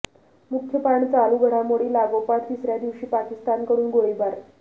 मुख्य पान चालू घडामोडी लागोपाठ तिसऱ्या दिवशी पाकिस्तानकडून गोळीबार